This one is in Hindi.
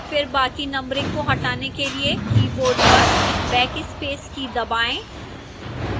फिर बाकी numbering को हटाने के लिए keyboard पर backspace की दबाएं